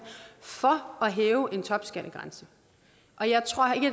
for at hæve en topskattegrænse